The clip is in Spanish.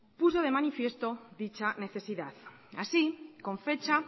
puso de manifiesto dicha necesidad así con fecha